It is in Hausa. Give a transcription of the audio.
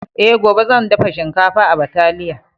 E, gobe zan dafa shinkafa ba taliya.